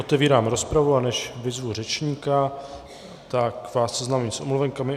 Otevírám rozpravu, a než vyzvu řečníka, tak vás seznámím s omluvenkami.